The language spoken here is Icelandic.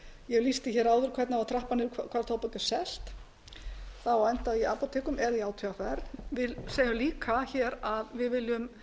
ég lýsti hér áður hvernig á að trappa niður hvar tóbak er selt það á að enda í apótekum eða í átvr við segjum líka að við viljum